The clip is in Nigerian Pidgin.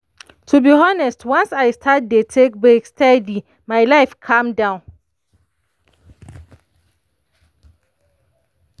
to be honest once i start dey take break steady my life calm down.